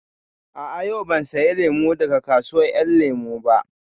A'a, yau ban saya lemu daga kasuwar ƴan lemu ba